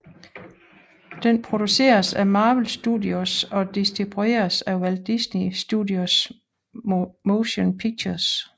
Den produceres af Marvel Studios og distribueres af Walt Disney Studios Motion Pictures